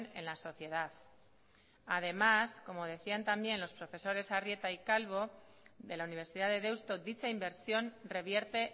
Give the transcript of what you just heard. en la sociedad además como decían también los profesores arrieta y calvo de la universidad de deusto dicha inversión revierte